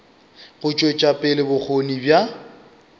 go tšwetša pele bokgoni bja